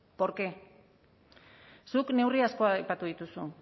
por qué zuk neurri asko aipatu dituzu